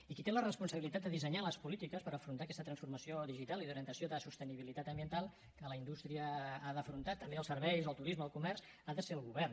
i qui té la responsabilitat de dissenyar les polítiques per afrontar aquesta transformació digital i d’orientació de sostenibilitat ambiental que la indústria ha d’afrontar també els serveis el turisme el comerç ha de ser el govern